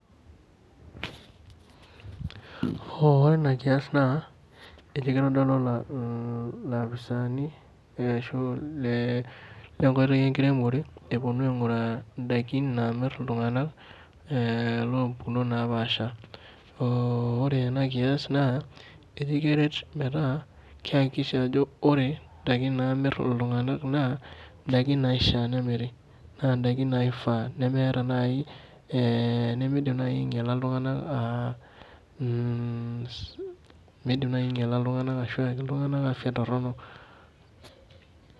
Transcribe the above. Ore ina kias naa ekeitodolu iloposaani lenkoitoi enkiremore epwonu aing'uraa indaiki naamirr iltung'anak loompukunot naapaasha. Ore ena kias naa aikiret metaa keihakikisha ajo ore indaiki naamirr iltung'anak naa ndaiki naishia nemiri naa ndaiki naifaa nemeidim naai ainyala iltung'anak ashu eyaki iltung'anak afya torrono